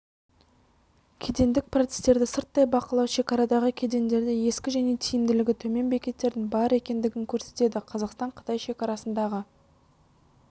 кедендік процестерді сырттай бақылау шекарадағы кедендерде ескі және тиімділігі төмен бекеттердің бар екендігін көрсетеді қазақстан-қытай шекарасындағы